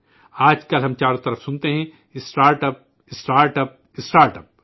آج کل ہم چاروں طرف سنتے ہیں ، startup, startup, startup